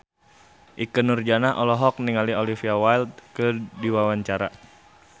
Ikke Nurjanah olohok ningali Olivia Wilde keur diwawancara